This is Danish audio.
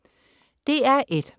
DR1: